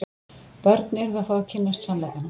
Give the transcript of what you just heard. Börn yrðu að fá að kynnast sannleikanum.